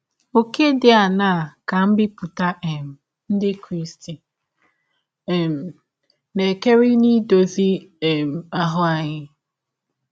Ọ̀kè dị aṅaa ka mbipụta um ndị Krịsti um na - ekere n’idọzi um anyị ahụ?